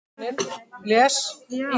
Við förum mjög sáttar heim í dag.